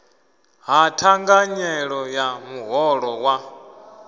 ha thanganyelo ya muholo wa